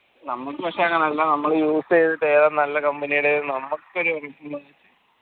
നമ്മളത് പക്ഷെ നമ്മള് use യിത്തിട്ട് ഏതാ നല്ല company എന്ന നമ്മക്കൊരു